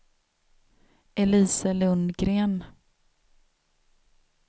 Elise Lundgren